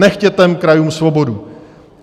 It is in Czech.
Nechte krajům svobodu.